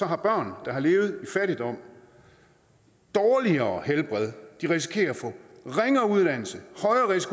har børn der har levet i fattigdom dårligere helbred de risikerer at få ringere uddannelse